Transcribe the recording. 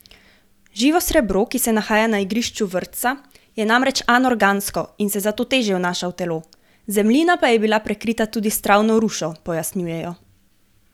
Živo srebro, ki se nahaja na igrišču vrtca, je namreč anorgansko in se zato težje vnaša v telo, zemljina pa je bila prekrita tudi z travno rušo, pojasnjujejo.